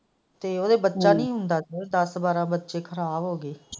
ਤੇ ਉਹਦੇ ਬੱਚਾ ਨਹੀਂ ਹੁੰਦਾ ਸੀ ਦੱਸ ਬਾਰਾਂ ਬੱਚੇ ਖ਼ਰਾਬ ਹੋ ਗਏ।